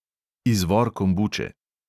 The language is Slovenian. Izvor kombuče.